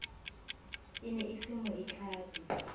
e ne e se moitlami